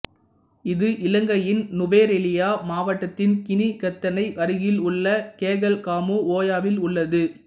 இது இலங்கையின் நுவரெலியா மாவட்டத்தின் கினிகத்தனை அருகில் உள்ள கெகல்காமு ஒயாவில் உள்ளது